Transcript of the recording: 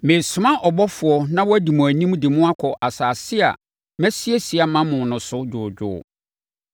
“Meresoma ɔbɔfoɔ na wadi mo anim de mo akɔ asase a masiesie ama mo no so dwoodwoo.